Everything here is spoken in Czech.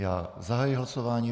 Já zahajuji hlasování.